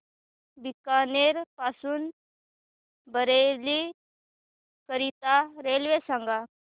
बीकानेर पासून बरेली करीता रेल्वे सांगा